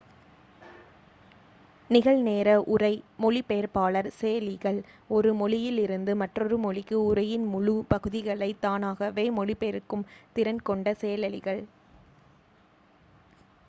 நிகழ்-நேர உரை மொழிபெயர்ப்பாளர் செயலிகள் ஒரு மொழியிலிருந்து மற்றொரு மொழிக்கு உரையின் முழு பகுதிகளைத் தானாகவே மொழிபெயர்க்கும் திறன் கொண்ட செயலிகள்